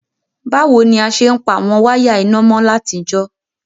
Bàwoni a se n pa àwon wire iná mo látijọ́?